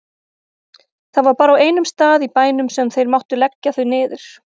Það var bara á einum stað í bænum sem þeir máttu leggja þau niður.